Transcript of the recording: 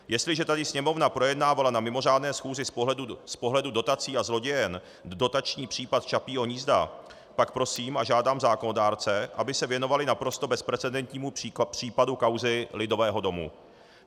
Jestliže tady Sněmovna projednávala na mimořádné schůzi z pohledu dotací a zlodějen dotační případ Čapího hnízda, pak prosím a žádám zákonodárce, aby se věnovali naprosto bezprecedentnímu případu kauzy Lidového domu.